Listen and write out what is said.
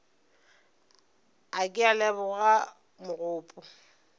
a ke a leboga mogopo